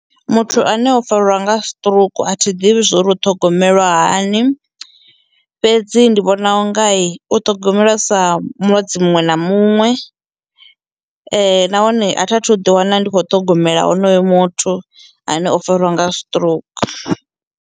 Muthu ane o fariwa nga stroke athi ḓivhi zwori u ṱhogomelwa hani fhedzi ndi vhona u ngai u ṱhogomela sa mulwadze muṅwe na muṅwe nahone a thi athu ḓi wana ndi kho ṱhogomela honoyo muthu ane o fariwa nga stroke.